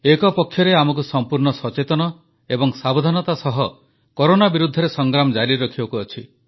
ଏକପକ୍ଷରେ ଆମକୁ ସମ୍ପୂର୍ଣ୍ଣ ସଚେତନତା ଏବଂ ସାବଧାନତା ସହ କରୋନା ବିରୁଦ୍ଧରେ ସଂଗ୍ରାମ ଜାରି ରଖିବାକୁ ଅଛି